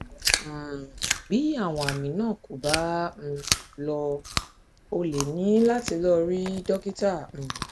um bí àwọn àmì náà kò bá um lọ o lè ní láti lọ rí dókítà um